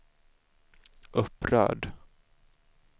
upprörd